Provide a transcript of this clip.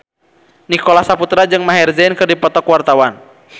Nicholas Saputra jeung Maher Zein keur dipoto ku wartawan